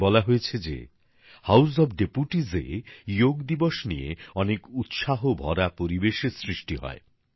আমাকে বলা হয়েছে যে হাউজ অফ ডেপুটিসে যোগ দিবস নিয়ে অনেক উৎসাহ ভরা পরিবেশের সৃষ্টি হয়